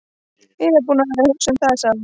Ég er búin að vera að hugsa um það, sagði hún.